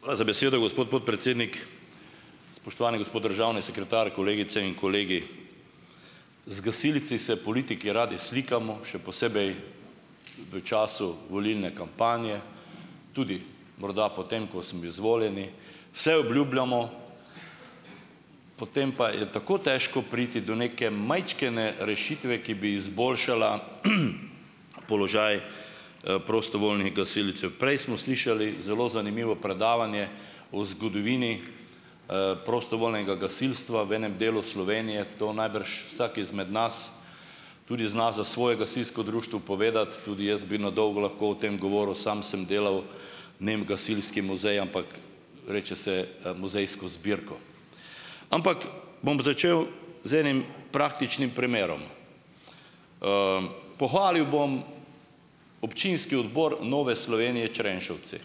Hvala za besedo, gospod podpredsednik. Spoštovani gospod državni sekretar, kolegice in kolegi! Z gasilci se politiki radi slikamo, še posebej v času volilne kampanje, tudi morda potem, ko smo izvoljeni, vse obljubljamo, potem pa je tako težko priti do neke majčkene rešitve, ki bi izboljšala položaj, prostovoljnih gasilcev. Prej smo slišali zelo zanimivo predavanje o zgodovini, prostovoljnega gasilstva v enem delu Slovenije, to najbrž vsak izmed nas tudi zna za svoje gasilsko društvo povedati. Tudi jaz bi na dolgo lahko o tem govoril, sam sem delal, ne vem, gasilski muzej, ampak reče se, muzejsko zbirko. Ampak bom začel z enim praktičnim primerom - pohvalil bom občinski odbor Nove Slovenije Črenšovci,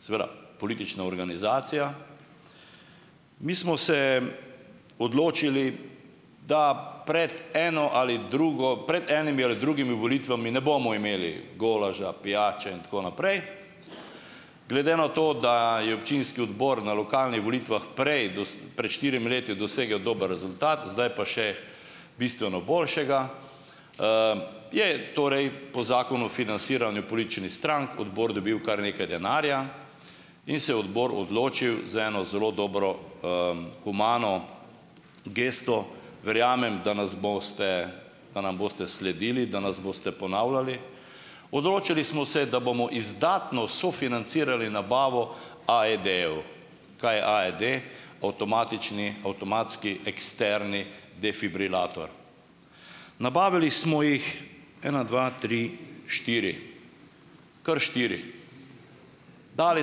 seveda, politična organizacija. Mi smo se odločili, da pred eno ali drugo, pred enimi ali drugimi volitvami ne bomo imeli golaža, pijače in tako naprej. Glede na to, da je občinski odbor na lokalnih volitvah prej pred štirimi leti dosegel dober rezultat, zdaj pa še bistveno boljšega, je torej po Zakonu o financiranju političnih strank odbor dobil kar nekaj denarja in se je odločil za eno zelo dobro, humano gesto - verjamem, da nas boste, da nam boste sledili, da nas boste ponavljali -, odločili smo se, da bomo izdatno sofinancirali nabavo AED-jev. Kaj je AED - avtomatični avtomatski eksterni defibrilator. Nabavili smo jih ena, dva, tri, štiri. Kar štiri. Dali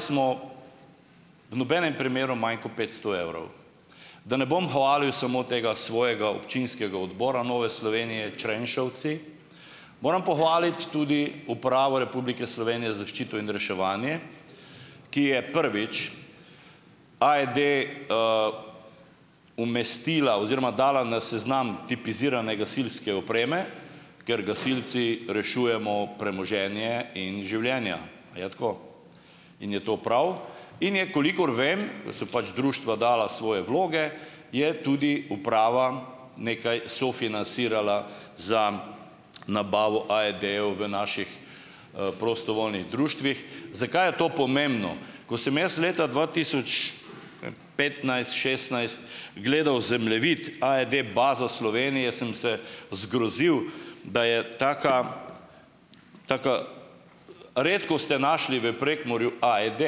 smo v nobenem primeru manj kot petsto evrov. Da ne bom hvalil samo tega svojega občinskega odbora Nove Slovenije Črenšovci, moram pohvaliti tudi Upravo Republike Slovenije za zaščito in reševanje, ki je, prvič, AED umestila oziroma dala na seznam tipizirane gasilske opreme, ker gasilci rešujemo premoženje in življenja - a je tako? - in je to prav. In je, kolikor vem, ko so pač društva dala svoje vloge, je tudi uprava nekaj sofinancirala za nabavo AED-jev v naših, prostovoljnih društvih. Zakaj je to pomembno? Ko sem jaz leta dva tisoč petnajst, šestnajst gledal zemljevid AED bazo Slovenije, sem se zgrozil, da je taka, taka, redko ste našli v Prekmurju AED;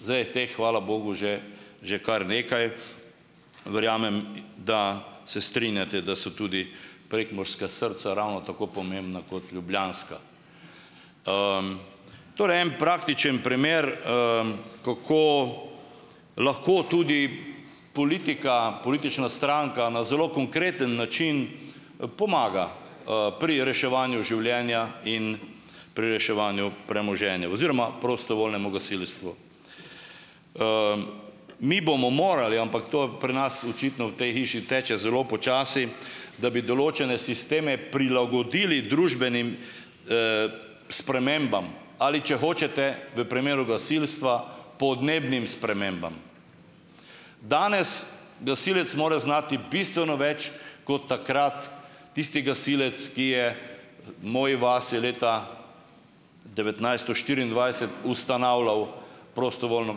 zdaj je teh, hvala bogu, že že kar nekaj. Verjamem, da se strinjate, da so tudi prekmurska srca ravno tako pomembna kot ljubljanska. Torej en praktični primer, kako lahko tudi politika, politična stranka na zelo konkreten način, pomaga, pri reševanju življenja in pri reševanju premoženja oziroma prostovoljnemu gasilstvu. Mi bomo morali - ampak to je pri nas očitno v tej hiši teče zelo počasi - da bi določene sisteme prilagodili družbenim, spremembam ali, če hočete, v primeru gasilstva podnebnim spremembam. Danes gasilec mora znati bistveno več kot takrat tisti gasilec, ki je moji vasi leta devetnajststo štiriindvajset ustanavljal prostovoljno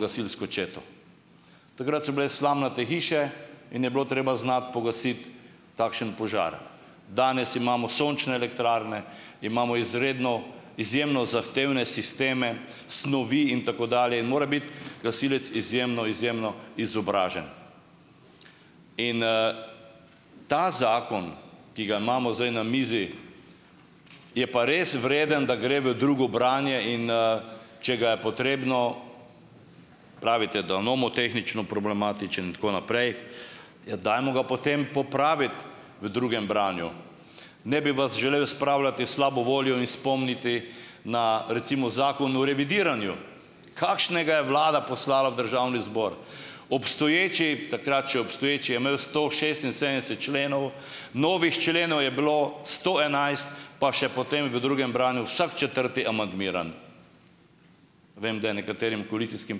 gasilsko četo. Takrat so bile slamnate hiše in je bilo treba znati pogasiti takšen požar. Danes imamo sončne elektrarne, imamo izredno izjemno zahtevne sisteme, snovi in tako dalje. In mora biti gasilec izjemno, izjemno izobražen. In, ta zakon, ki ga imamo zdaj na mizi, je pa res vreden, da gre v drugo branje in, če ga je potrebno - pravite, da je nomotehnično problematičen in tako naprej -, ja, dajmo ga potem popraviti v drugem branju. Ne bi vas želel spravljati v slabo voljo in spomniti na, recimo, Zakon o revidiranju. Kakšnega je vlada poslala v državni zbor! Obstoječi - takrat še obstoječi - je imel sto šestinsedemdeset členov, novih členov je bilo sto enajst, pa še potem v drugem branju vsak četrti amandmiran. Vem, da je nekaterim koalicijskih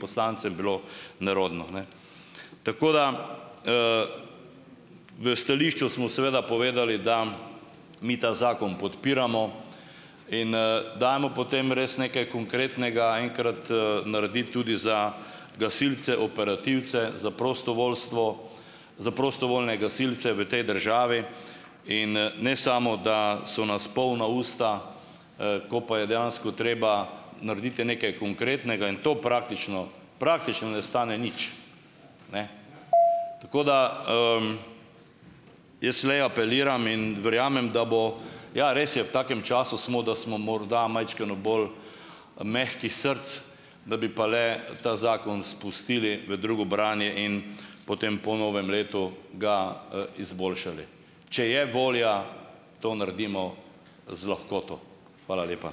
poslancem bilo nerodno, ne. Tako da - v stališču smo seveda povedali, da mi ta zakon podpiramo. In, dajmo potem res nekaj konkretnega enkrat, narediti tudi za gasilce operativce, za prostovoljstvo, za prostovoljne gasilce v tej državi - in, ne samo da so nas polna usta, ko pa je dejansko treba narediti nekaj konkretnega in to praktično - praktično ne stane nič. Ne. Tako da, - jaz le apeliram in verjamem, da bo - ja, res je, v takem času smo, da smo morda majčkeno bolj, mehkih src. Da bi pa le ta zakon spustili v drugo branje in potem po novem letu ga, izboljšali. Če je volja, to naredimo z lahkoto. Hvala lepa.